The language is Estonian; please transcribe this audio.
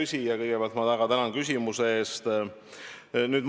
Hea küsija, kõigepealt ma väga tänan küsimuse eest!